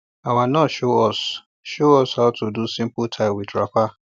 our nurse show us show us how to do simple tie with wrapper